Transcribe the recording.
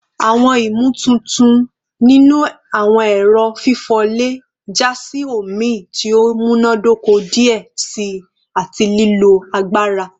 Awọn imotuntun ninu awọn ẹrọ fifọ le ja si omi ti o munadoko diẹ sii ati lilo agbara